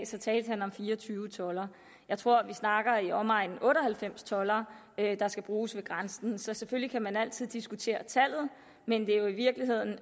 så talte han om fire og tyve toldere jeg tror at vi snakker i omegnen af otte og halvfems toldere der skal bruges ved grænsen selvfølgelig kan man altid diskutere tallet men det er jo i virkeligheden